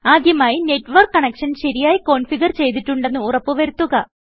ആദ്യമായി network connection ശരിയായി configure ചെയ്തിട്ടുണ്ടെന്ന് ഉറപ്പ് വരുത്തുക